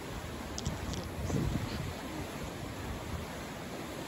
я хотела бы посмотреть что то новое